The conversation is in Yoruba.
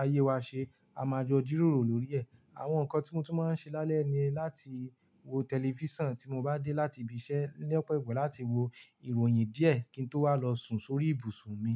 ayé wa ṣe, a máa jọ jíróòrò lórí ẹ̀. Àwọn nǹkan tí mo tún máa ń ṣe lálẹ́ ni láti wo tẹlifísàn tí mo bá dé láti ibi iṣẹ́ lọpọ ìgbà láti wo ìròyìn díẹ̀ kí n tó wá lọ sùn sórí ibùsùn mi.